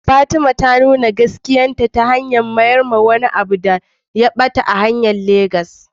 Fatima ta nuna gaskiya ta hanyar mayar da wani abu da ya ɓata ga me shi a Legas.